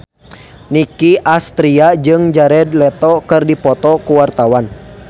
Nicky Astria jeung Jared Leto keur dipoto ku wartawan